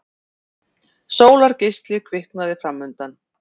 Sólargeisli kviknaði framundan.